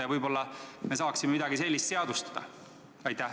Ja võib-olla me saaksime midagi sellist seadustada?